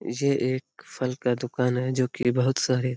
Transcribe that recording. ये एक फल का दुकान है जो की बहुत सारे --